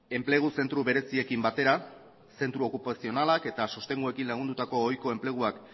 enplegu zentro bereziekin batera zentro okupazionalak eta sostenguekin lagundutako ohiko enpleguak